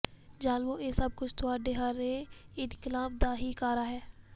ਜ਼ਾਲਮੋ ਇਹ ਸੱਭ ਕੁੱਝ ਤੁਹਾਡੇ ਹਰੇ ਇਨਕਲਾਬ ਦਾ ਹੀ ਕਾਰਾ ਹੈ